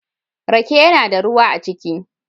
Rake yana da ruwa a ciki.